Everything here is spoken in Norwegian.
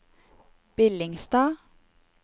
Billingstad